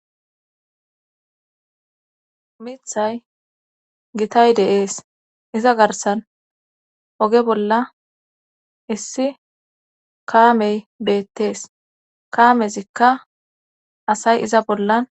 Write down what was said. mithay gitay deees iza garsan oge bolla issi kaamey beettees kaamezikka asay iza bollan